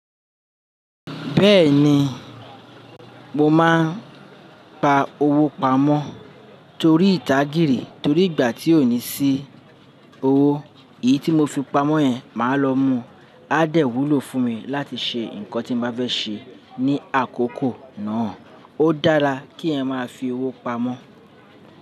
Bẹ́ẹ̀ni, mo máa ń pa owó pamọ́ torí ìdagiri torí ìgbà tí ò ní sí owó, èyí tí mo fi pamọ́ yẹn màá lọ mú á dẹ̀ wúlò fún mi láti ṣe nǹkan tí mo bá fẹ́ ṣe ní àkókò náà. Ó dára kí ẹ máa fi owó pamọ́